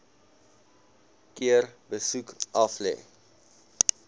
keer besoek aflê